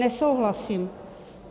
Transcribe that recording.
Nesouhlasím.